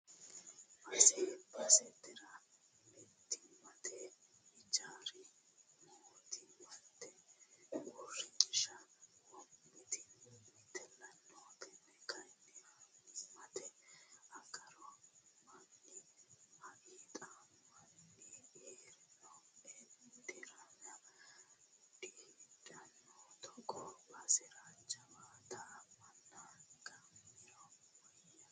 Base basetera mootimmate hijaari mootimmate uurrinsha wo'mitella no tene kayinni annimatenni agarano manni hixamanyu heeriro ederame diheedhanonna togoo basera jawaatta manna gaamiro woyyano.